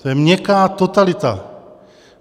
To je měkká totalita.